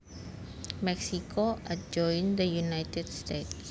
Mexico adjoins the United States